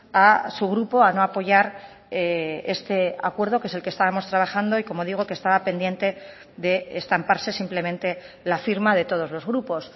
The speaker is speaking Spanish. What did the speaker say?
a su grupo a no apoyar este acuerdo que es el que estábamos trabajando y como digo que estaba pendiente de estamparse simplemente la firma de todos los grupos